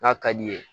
N'a ka di ye